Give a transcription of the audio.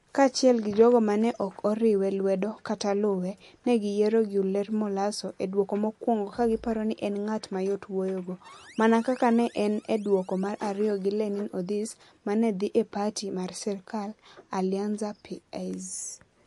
Kaachiel gi jogo ma ne ok oriwe lwedo kata luwe, ne giyiero Guillermo Lasso e duoko mokwongo ka giparo ni en ng'at mayot wuoyogo - mana kaka ne en e duoko mar ariyo gi LeninOdhis ma ne dhi e pati mar sirkal, Alianza PaĂ s.